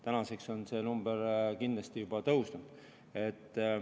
Tänaseks on see number kindlasti juba tõusnud.